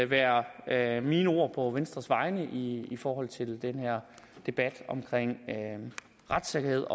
være være mine ord på venstres vegne i forhold til den her debat om retssikkerhed